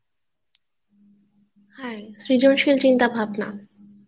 হ্যাঁ সৃজনশীল চিন্তা ভাবনা